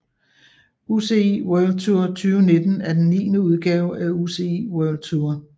UCI World Tour 2019 er den niende udgave af UCI World Tour